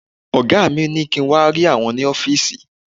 Ọ̀gá mi ní kí n wà rí àwọn ni ọ́fìsì